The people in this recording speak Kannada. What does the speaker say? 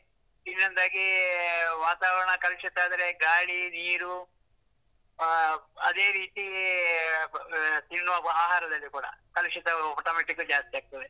ಇನ್ನೊಂದಾಗೀ ವಾತಾವರಣ ಕಲುಷಿತ ಆದ್ರೆ ಗಾಳಿ, ನೀರು ಆ ಅದೇ ರೀತೀ ಆ ತಿನ್ನುವ ಆಹಾರದಲ್ಲಿ ಕೂಡಾ ಕಲುಷಿತ automatically ಜಾಸ್ತಿ ಆಗ್ತದೆ.